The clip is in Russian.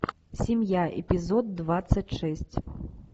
семья эпизод двадцать шесть